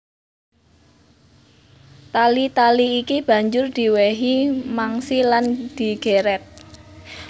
Tali tali iki banjur diwèhi mangsi lan digèrèt